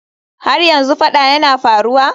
Har yanzu fada yana faruwa?